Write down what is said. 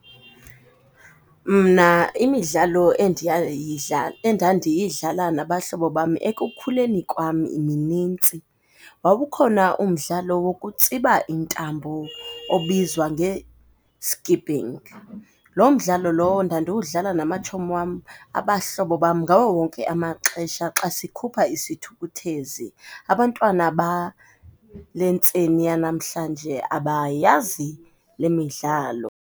Mna imidlalo endandiyidlala nabahlobo bam ekukhuleni kwam minintsi. Wawukhona umdlalo wokutsiba intambo obizwa nge-skipping. Lo mdlalo lowo ndandiwudlala namatshomi wam, abahlobo bam ngawo wonke amaxesha xa sikhupha isithukuthezi. Abantwana bale ntseni yanamhlanje abayazi le midlalo.